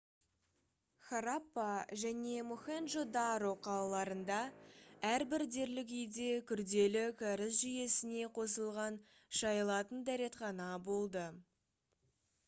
хараппа және мохенджо-даро қалаларында әрбір дерлік үйде күрделі кәріз жүйесіне қосылған шайылатын дәретхана болды